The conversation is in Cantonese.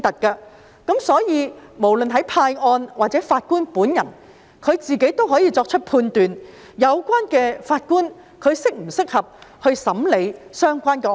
因此，不論是派案的，還是法官本人，也可以判斷有關法官是否適合審理相關案件。